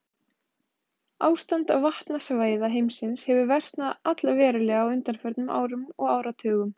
Ástand vatnasvæða heimsins hefur versnað allverulega á undanförnum árum og áratugum.